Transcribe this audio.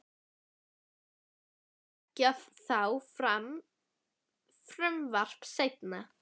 Ætlið þið þá að leggja þá fram frumvarp seinna?